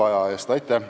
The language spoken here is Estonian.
Aitäh!